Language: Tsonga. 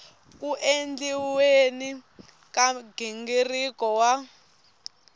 ku endliweni ka nghingiriko wa